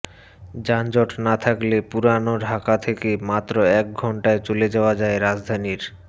যানজট না থাকলে পুরান ঢাকা থেকে মাত্র এক ঘণ্টায় চলে যাওয়া যায় রাজধানীর